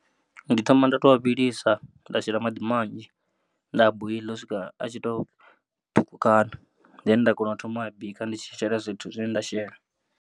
Ndi thoma nda tou a vhilisa nda shela maḓi manzhi nda a boiḽa u swika a tshi to ṱhukhukana then nda kona u thoma u bika ndi tshi shela zwithu zwine nda shela.